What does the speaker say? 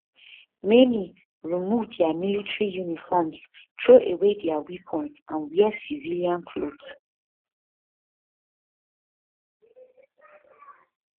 many remove dia military uniforms troway dia weapons and wear civilian clothes